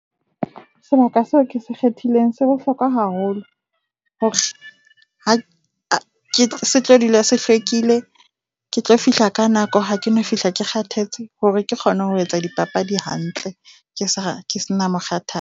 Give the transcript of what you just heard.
Sebaka seo ke se kgethileng se bohlokwa haholo. Ha ke se tlo dula se hlwekile, ke tlo fihla ka nako, ha ke no fihla ke kgathetse. Hore ke kgone ho etsa dipapadi hantle ke sa ke se na mokgathala.